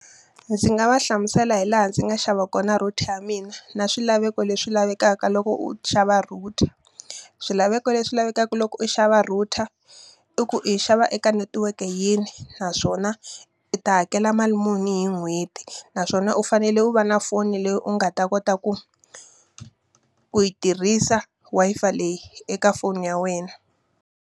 Ndzi nga va hlamusela hi laha ndzi nga xava kona router ya mina na swilaveko leswi lavekaka loko u xava router. Swilaveko leswi lavekaka loko u xava router, i ku yi xava eka netiweke yini naswona u ta hakela mali muni hi n'hweti. Naswona u fanele u va na foni leyi u nga ta kota ku ku yi tirhisa Wi-Fi leyi eka foni ya wena.